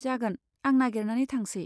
जागोन, आं नागेरनानै थांसै।